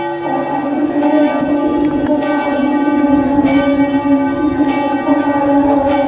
फर्स दिख रही है जिसके ऊपर कागजों से बनाया हुआ चित्र रखा हुआ है और--